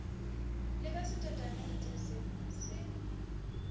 le ka setatamentse se se